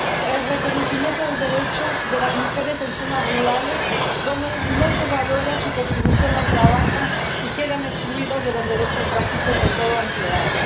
el reconocimiento de los derechos de las mujeres en zonas rurales, donde no se valora su contribución al trabajo y quedan excluidas de los derechos básicos de todo empleado